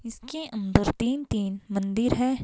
इसके अंदर तीन-तीन मंदिर है.